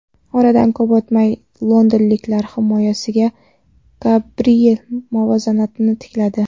Oradan ko‘p o‘tmay londonliklar himoyachisi Gabriel muvozanatni tikladi.